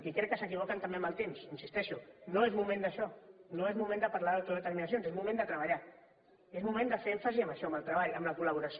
i crec que s’equivoquen també amb el temps hi insisteixo no és moment d’això no és moment de parlar d’autodeterminacions és moment de treballar i és moment de fer èmfasi en això en el treball en la col·laboració